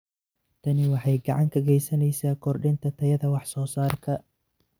Tani waxay gacan ka geysaneysaa kordhinta tayada wax soo saarka.